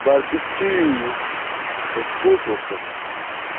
барбекю соскучился